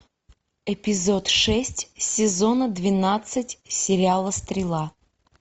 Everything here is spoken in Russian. эпизод шесть сезона двенадцать сериала стрела